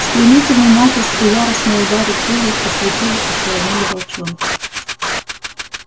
стремительный натиск и яростные удары крыльев ослепили ошеломили волчонка